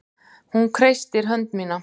Hún kreistir hönd mína.